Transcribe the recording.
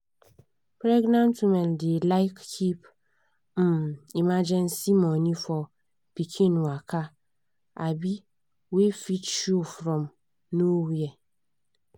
pregenant women dey like keep um emergency money for pikin waka um wey fit show from nowhere.